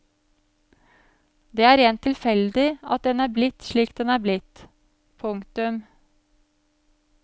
Det er rent tilfeldig at den er blitt slik den er blitt. punktum